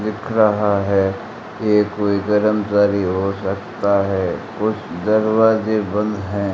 दिख रहा है। ये कोई कर्मचारी हो सकता है। कुछ दरवाजे बंद है।